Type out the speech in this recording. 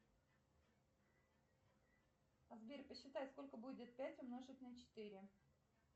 сбер посчитай сколько будет пять умножить на четыре